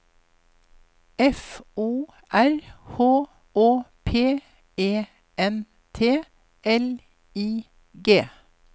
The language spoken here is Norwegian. F O R H Å P E N T L I G